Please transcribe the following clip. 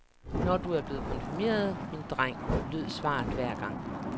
Når du er blevet konfirmeret, min dreng, lød svaret hver gang.